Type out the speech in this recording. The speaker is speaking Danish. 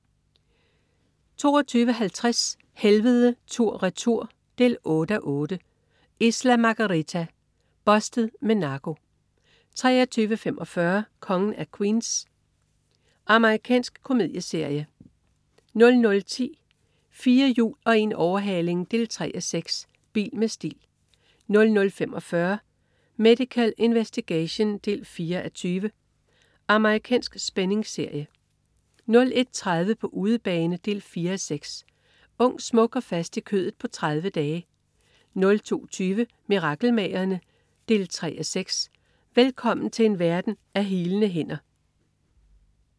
22.50 Helvede tur/retur 8:8. Isla Margarita. "Bustet" med narko 23.45 Kongen af Queens. Amerikansk komedieserie 00.10 4 hjul og en overhaling 3:6. Bil med stil 00.45 Medical Investigation 4:20. Amerikansk spændingsserie 01.30 På udebane 4:6. Ung, smuk og fast i kødet på 30 dage! 02.20 Mirakelmagerne? 3:6. Velkommen til en verden af healende hænder